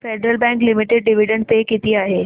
federal Bank Limited dividend pay किती आहे